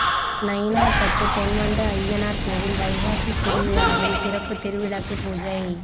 நயினார்பத்து பொன்வண்டு அய்யனார் கோயில் வைகாசி திருவிழாவில் சிறப்பு திருவிளக்கு பூஜை